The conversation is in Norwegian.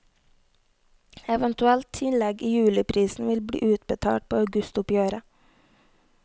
Eventuelt tillegg i juliprisen vil bli utbetalt på augustoppgjøret.